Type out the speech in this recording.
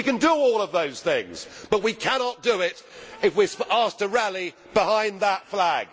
We can do all of those things but we cannot do them if we are asked to rally behind that flag.